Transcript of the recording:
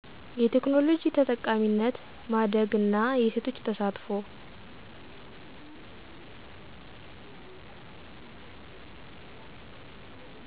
የቴክኖሎጂ ተጠቃሚነት ማደግ እና የሴቶች ተሳትፎ